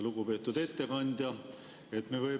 Lugupeetud ettekandja!